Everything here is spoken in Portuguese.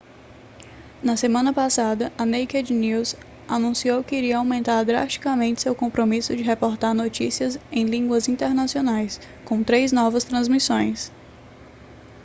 na semana passada a naked news anunciou que iria aumentar drasticamente seu compromisso de reportar notícias em línguas internacionais com três novas transmissões